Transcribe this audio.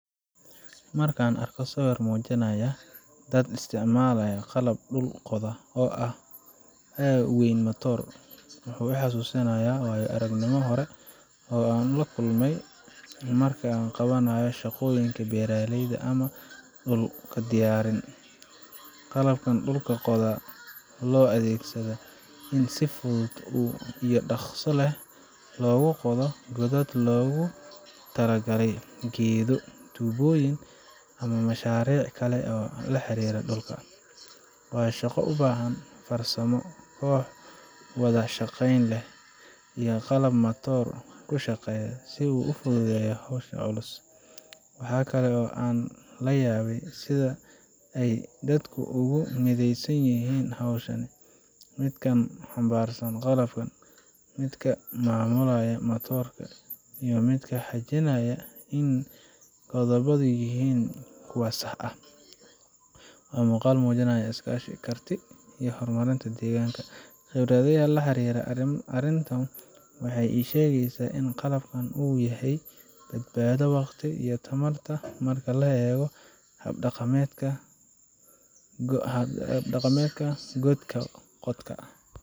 Markaan arko sawirkan muujinaya dad isticmaalaya qalab dhul qoda ah oo ay wehliyaan matoor, wuxuu i xasuusinayaa waayo aragnimooyin hore oo aan la kulmay marka la qabanayo shaqooyin beeraley ama dhul diyaarin. Qalabkan dhulka qoda waxa loo adeegsadaa in si fudud iyo dhakhso leh loogu qodo godad loogu tala galay geedo, tuubooyin ama mashaariic kale oo la xiriira dhulka. Waa shaqo u baahan farsamo, koox wada shaqeyn leh, iyo qalab matoor ku shaqeeya si uu u fududeeyo howsha culus. Waxa kale oo aan la yaabay sida ay dadku ugu mideysan yihiin hawshan midka xambaarsan qalabka, midka maamulaya matoorka, iyo midka xaqiijinaya in godadku yihiin kuwa sax ah. Waa muuqaal muujinaya iskaashi, karti, iyo horumarinta deegaanka. Khibradeyda la xiriirta arrintan waxay ii sheegaysaa in qalabkan uu yahay badbaado waqtiga iyo tamarta marka loo eego hab dhaqameedka god qodka.